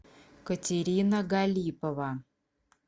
катерина галипова